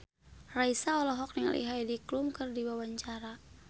Raisa olohok ningali Heidi Klum keur diwawancara